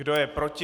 Kdo je proti?